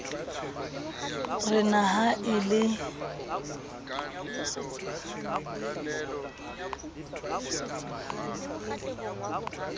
re na ha e le